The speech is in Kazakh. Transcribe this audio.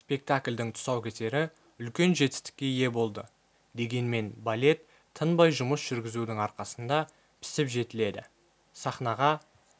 спектакльдің тұсаукесері үлкен жетістікке ие болды дегенмен балет тынбай жұмыс жүргізудің арқасында пісіп жетіледі сахнаға